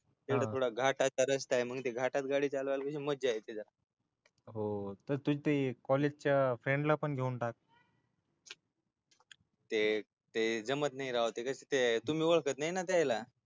थोडा थोडा घाटाचा रस्ताय घाटात गाडी चालवलाय लय मज्जा येते मग हो तू कॉलेजच्या फ्रेंड ला पण घेऊन टाक ते जमत नाही राव ते कस तुम्ही ओळखत नाही ना त्याला